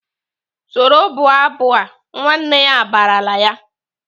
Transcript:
"Soro bụọ abụ a!" Nwanne ya barala ya!